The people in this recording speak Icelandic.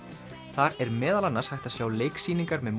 þar er meðal annars hægt að sjá leiksýningar með